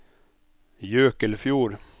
Jøkelfjord